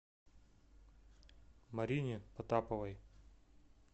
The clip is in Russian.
марине потаповой